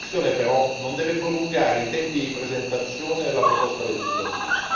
Tale valutazione, però, non deve prolungare i tempi di presentazione della proposta legislativa.